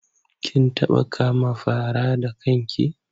Kin taɓa kama fara da kan ki?